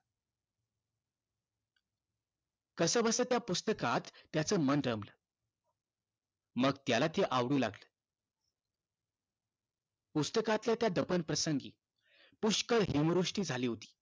कसबस त्या पुस्तकात त्याच मन रामाला मग त्याला ती आवडू लागली पुस्तकांच्या त्या दफन प्रसंगी पुष्कळ हिमवृष्टी झाली होती